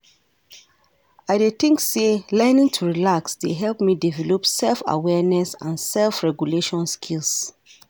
I dey think say learning to relax dey help me develop self-awareness and self-regulation skills.